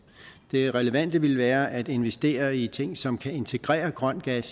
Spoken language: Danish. det relevante ville være at investere i ting som kan integrere grøn gas